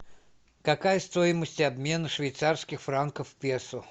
какая стоимость обмена швейцарских франков в песо